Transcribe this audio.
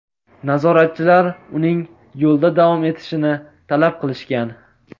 Nazoratchilar uning yo‘lda davom etishini talab qilishgan.